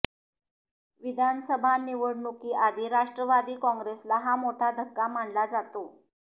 विधानसभा निवडणुकीआधी राष्ट्रवादी काँग्रेसला हा मोठा धक्का मानला जातो